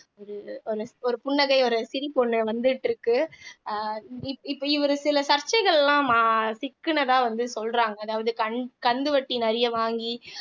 ஒரு புன்னகை ஒரு சிரிப்பு ஒண்ணு வந்துட்டு இருக்கு அஹ் இப்ப இவரு சில சர்ச்சைகள்லாம் அஹ் ம சிக்குனதா வந்து சொல்றாங்க அதாவது கந் கந்துவட்டி நிறைய வாங்கி